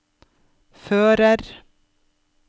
fører